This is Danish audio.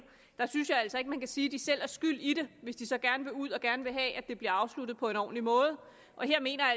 der synes jeg altså ikke man kan sige at de selv er skyld i det hvis de så gerne vil ud af det og gerne vil have at det bliver afsluttet på en ordentlig måde her mener jeg